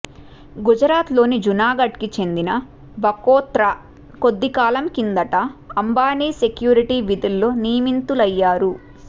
గుజరాత్లోని జునాగడ్కి చెందిన బకోత్రా కొద్దికాలం కిందట అంబానీ సెక్యూరిటీ విధుల్లో నియమితులయ్యారు